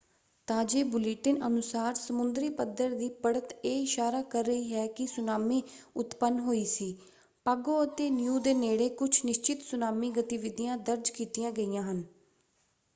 ਤਾਜੇ bulletin ਅਨੁਸਾਰ ਸਮੁੰਦਰੀ ਪੱਧਰ ਦੀ ਪੜ੍ਹਤ ਇਹ ਇਸ਼ਾਰਾ ਕਰ ਰਹੀ ਹੈ ਕਿ ਸੁਨਾਮੀ ਉਤਪੰਨ ਹੋਈ ਸੀ। ਪਾਗੋ ਅਤੇ ਨੀਉ ਦੇ ਨੇੜੇ ਕੁਝ ਨਿਸ਼ਚਿਤ ਸੁਨਾਮੀ ਗਤੀਵਿਧੀਆਂ ਦਰਜ ਕੀਤੀਆਂ ਗਈਆਂ ਹਨ।